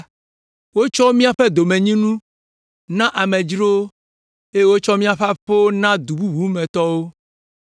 Wotsɔ míaƒe domenyinu, na amedzrowo eye wotsɔ míaƒe aƒewo na du bubu me tɔwo.